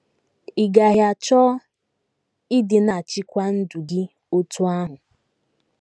Ị́ gaghị achọ ịdị na - achịkwa ndụ gị otú ahụ?